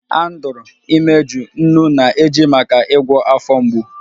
Andrew imeju, nnu na-eji maka ịgwọ afọ mgbu